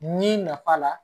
N'i nafa la